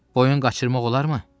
Boyun qaçırmaq olarmı?